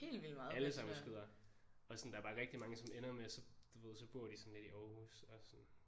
Alle sammen skyder og sådan der er bare rigtig mange som ender med så du ved så bor de sådan lidt i Aarhus og sådan